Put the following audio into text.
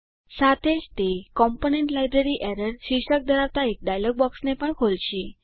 સાથે જ તે કોમ્પોનન્ટ લાઇબ્રેરી એરર શીર્ષક ધરાવતા એક ડાયલોગ બોક્સને પણ ખોલશે